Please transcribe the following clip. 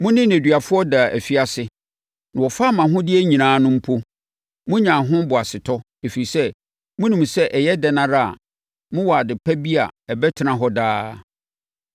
Mo ne nneduafoɔ daa afiase na wɔfaa mo ahodeɛ nyinaa no mpo, monyaa ho boasetɔ, ɛfiri sɛ, monim sɛ ɛyɛ dɛn ara a mowɔ ade pa bi a ɛbɛtena hɔ daa.